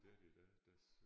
Det er det i dag der